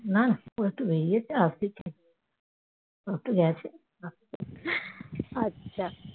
না না ও একটু বেরিয়েছে আসবে ও একটু গেছে